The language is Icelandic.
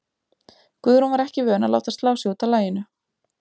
Guðrún var ekki vön að láta slá sig út af laginu.